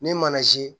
Ni mana si